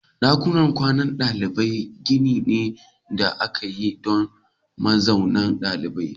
Dakunan kwanan dalibai gini ne da aka yi don mazaunin ɗalibai.